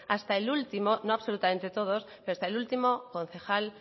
hasta el último no absolutamente todos concejal